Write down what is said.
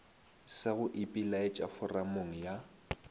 sa go ipelaetša foramong ya